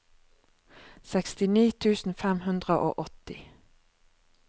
sekstini tusen fem hundre og åtti